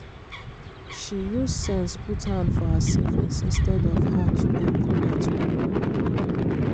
she use sense put hand for her savings instead of her to go collect loan